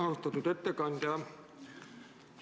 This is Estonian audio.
Austatud ettekandja!